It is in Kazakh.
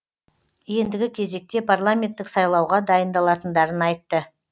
ендігі кезекте парламенттік сайлауға дайындалатындарын айтты